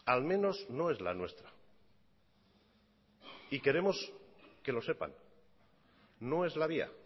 al menos no es la nuestra y queremos que lo sepan no es la vía